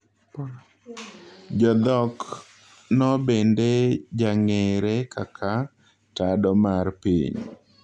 Jodhok no bende jang'eere kaka tado mar piny